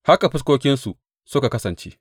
Haka fuskokinsu suka kasance.